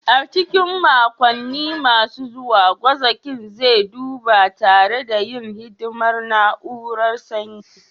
A cikin makonni masu zuwa, gwazakin zai duba tare da yin hidimar na'urar sanyi